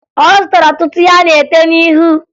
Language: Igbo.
Ọ zụtara ọtụtụ ihe a na-ete n'ihu